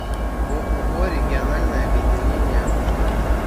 ооо региональное объединение автостанций